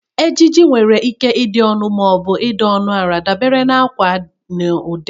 Ejiji nwere ike ịdị ọnụ ma ọ bụ dị ọnụ ala dabere na akwa na ụdị.